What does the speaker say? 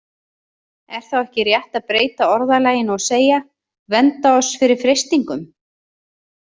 Er þá ekki rétt að breyta orðalaginu og segja: Vernda oss fyrir freistingum?